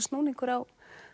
snúningur á